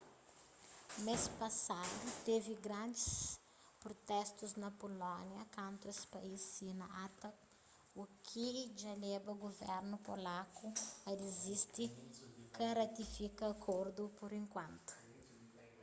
mês pasadu tevi grandis prutestu na pulónia kantu es país sina acta u ki dja leba guvernu polaku a disidi ka ratifika akordu pur enkuantu